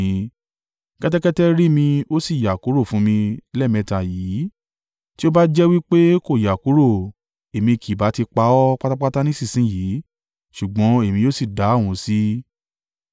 Kẹ́tẹ́kẹ́tẹ́ rí mi ó sì yà kúrò fún mi lẹ́ẹ̀mẹ́ta yìí. Tí ó bá jẹ́ wí pé kò yà kúrò. Èmi kì ìbá ti pa ọ́ pátápátá nísinsin yìí, ṣùgbọ́n Èmi yóò sì dá òun sí.”